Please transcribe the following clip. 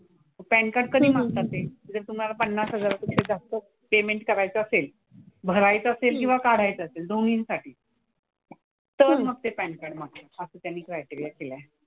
Pan card कधी मागतात ते जर तुम्हाला पन्नास हजारापेक्षा जास्त पेमेंट करायचं असेल, भरायचं असेल किंवा काढायचं असेल दोन्हींसाठी, तर मग ते पॅन कार्ड मागतात. असा त्यांनी क्रायटेरिया केला आहे.